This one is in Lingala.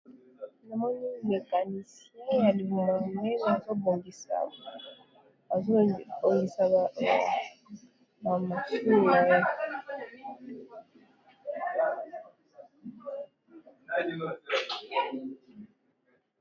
Namoni mécanicien ya libumu monene azo bongisa ba machine naye.